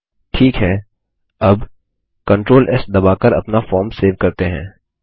ठीक है अब कंट्रोल एस दबाकर अपना फॉर्म सेव करते हैं